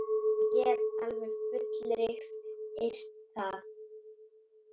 Ég get alveg fullyrt það.